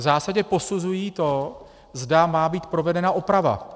V zásadě posuzují to, zda má být provedena oprava.